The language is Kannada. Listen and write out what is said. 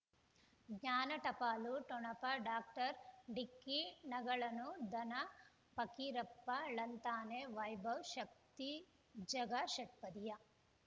ಜ್ಞಾನ ಟಪಾಲು ಠೊಣಪ ಡಾಕ್ಟರ್ ಢಿಕ್ಕಿ ಣಗಳನು ಧನ ಫಕೀರಪ್ಪ ಳಂತಾನೆ ವೈಭವ್ ಶಕ್ತಿ ಝಗಾ ಷಟ್ಪದಿಯ